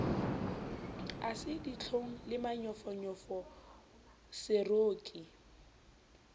ha se ditlhong le manyofonyofoseroki